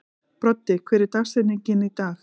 Broddi, hver er dagsetningin í dag?